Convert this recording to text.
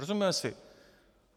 Rozumíme si?